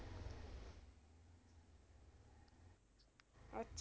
ਅੱਛਾ